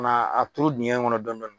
Na a turu diŋɛ kɔnɔ dɔn dɔni